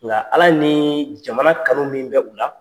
Nka Ala nii jamana kanu min bɛ u la